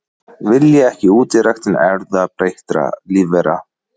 Vilja ekki útiræktun erfðabreyttra lífvera